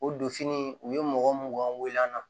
O don fini u ye mɔgɔ mun wele an na